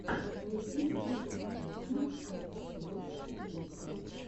найди список песен алексея игнатьева